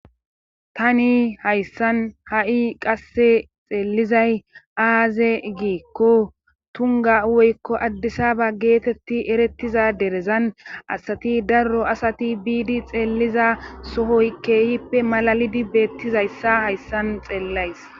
Tani hayssan ha7i qasse xeellizay aaze giikko tunga woykko addisaba geetetti erettiza derezan asati darro asati biidi xeelliza sohoy keehippe malalidi beettizayssa hayssan xeellays